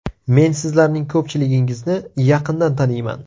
Men sizlarning ko‘pchiligingizni yaqindan taniyman.